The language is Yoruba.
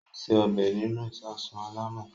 Ó se ọbẹ̀ nínú ìsasùn alámọ̀.